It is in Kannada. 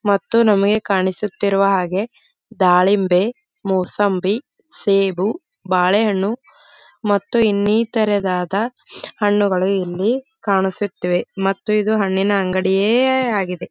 ಮತ್ತು ನಮಗೆ ಕಾಣಿಸುತ್ತ ಇರೋಹಾಗೆ ದಾಳಿಂಬೆ ಮೂಸಂಬಿ ಬಾಳೆಹಣ್ಣು ಮತ್ತು ಇನ್ನಿತರವಾದ ಹಣ್ಣುಗಳು ಇಲ್ಲಿ ಕಾಣಿಸುತ್ತದೆ ಮತ್ತು ಇದು ಹಣ್ಣಿನ ಅಂಗಡಿಯೇ ಆಗಿದೆ.